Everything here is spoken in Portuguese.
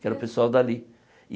Que era o pessoal dali.